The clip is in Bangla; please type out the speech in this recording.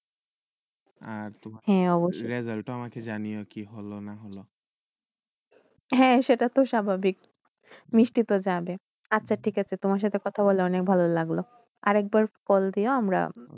result টা জানাও কি হলো না হলো সেইটাতো স্বাভাবিক মিষ্টিতো যাবে তোমার সাথে কথা বলল অনেক ভাল লাগলো আর একবার call দিয়া আমরা